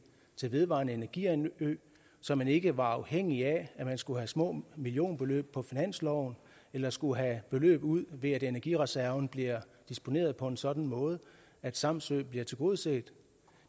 til vedvarende energianlæg så man ikke var afhængig af at man skulle have små millionbeløb på finansloven eller skulle have beløb ud ved at energireserven bliver disponeret på en sådan måde at samsø bliver tilgodeset